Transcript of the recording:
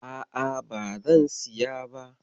A'a, bazan siya ba.